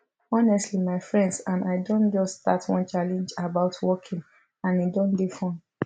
honestly my friends and i don just start one challenge about walking and e don dey fun